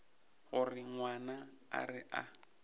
gore ngwana a re a